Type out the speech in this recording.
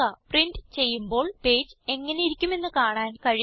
print ചെയ്യുമ്പോൾ page എങ്ങനെയിരിക്കുമെന്ന് കാണാൻ കഴിയുന്നു